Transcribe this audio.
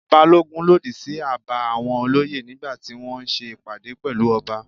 Balogun lòdì sí àbá àwọn olóyè nígbà tí wọ́n ṣe ìpàdé pẹ̀lú ọba.